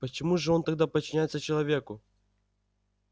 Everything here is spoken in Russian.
почему же он тогда подчиняется человеку